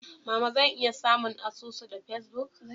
Mama zan iya samun asusu da Facebook?